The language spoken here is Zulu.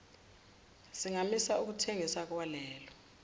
singamisa ukuthengiswa kwalelo